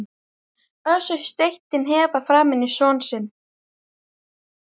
Össur steytti hnefa framan í son sinn.